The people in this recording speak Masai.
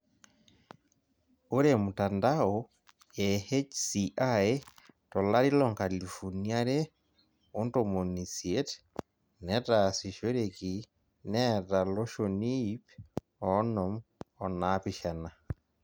Ore mtandao e HCI tolari loonkalifuni are ontomoni isiet netaasishoreki neeta loshoni ip oonom onaapishana.